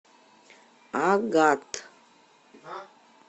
агат